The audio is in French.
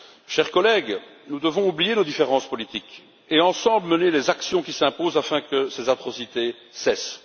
Chers collègues, nous devons oublier nos différences politiques et, ensemble, mener les actions qui s'imposent afin que ces atrocités cessent.